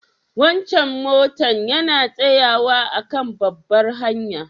Wancan motan yana tsayawa a'kan babbar hanya?